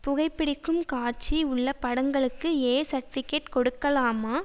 புகைபிடிக்கும் காட்சி உள்ள படங்களுக்கு ஏ சர்ட்டிபிகெட் கொடுக்கலாமா